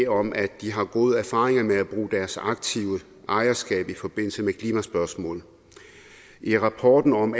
om at de har gode erfaringer med at bruge deres aktive ejerskab i forbindelse med klimaspørgsmål i rapporten om